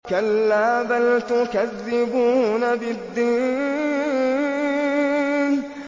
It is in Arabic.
كَلَّا بَلْ تُكَذِّبُونَ بِالدِّينِ